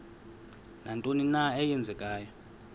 nantoni na eenzekayo